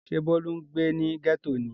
Ṣé Bólú ń gbé ní gẹ́tò ni?